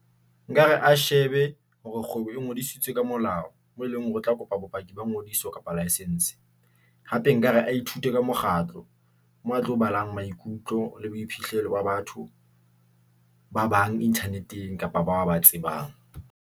Nkare a shebe hore kgwebo e ngodisitswe ka molao, mo e leng hore o tla kopa bopaki ba ngodiso kapa licence. Hape nkare a ithute ka mokgatlo moo a tlo balang maikutlo le boiphihlelo ba batho ba bang Internet- eng kapa batho ba tsebang.